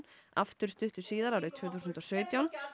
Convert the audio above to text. aftur stuttu síðar árið tvö þúsund og sautján